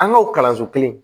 An ka o kalanso kelen